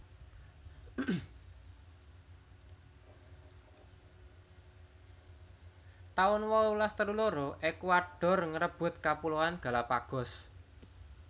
taun wolulas telu loro Ekuador ngrebut Kapuloan Galapagos